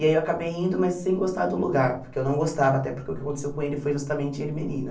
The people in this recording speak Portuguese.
E aí eu acabei indo, mas sem gostar do lugar, porque eu não gostava, até porque o que aconteceu com ele foi justamente em Ermelino.